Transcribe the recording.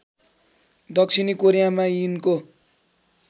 दक्षिणी कोरियामा यिनको